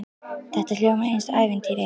Þetta hljómar eins og í ævintýri.